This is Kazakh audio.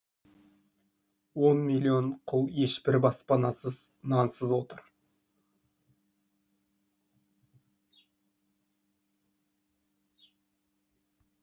он миллион құл ешбір баспанасыз нансыз отыр